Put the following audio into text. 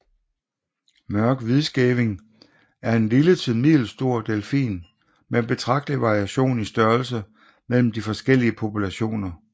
Mørk hvidskæving er en lille til middelstor delfin med betragtelig variation i størrelse mellem de forskellige populationer